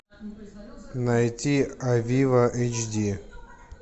найти авиво эйч ди